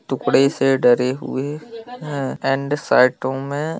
टुकड़े से डरे हुए है एण्ड साइटों मे--